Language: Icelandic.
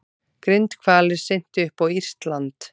Grindhvalir syntu upp á írskt land